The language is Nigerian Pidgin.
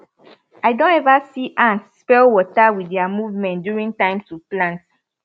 i don ever see ant spell water wit their movement during time to plant